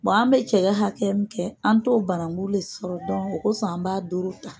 an bɛ cɛ hakɛ min kɛ an t'o banangu le sɔrɔ o kɔsɔn an b'a doron tan.